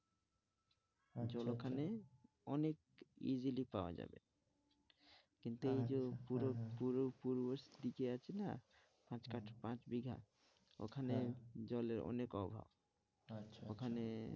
আচ্ছা আচ্ছা, জল ওখানে অনেক easily পাওয়া যায় কিন্তু এই যে পুরো পুরো পূর্বদিকে আছে না, পাঁচ পাঁচ বিঘা ওখানে জলের অনেক অভাব আচ্ছা, আচ্ছা, ওখানে